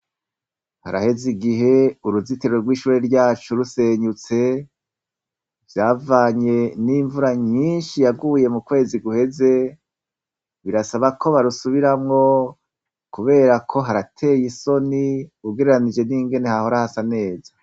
Haraheze igihe uruzitiriro rw'ishuri ryacu rusenyutse vyavanye n'imvura nyinshi yaguye mu kwezi guheze birasaba ko barusubiramwo, kubera ko harateye isoni ugereranije n'ingene hahorahasa neza.